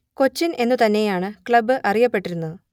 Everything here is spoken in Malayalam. കൊച്ചിൻ എന്നു തന്നെയാണ് ക്ലബ് അറിയപ്പെട്ടിരുന്നത്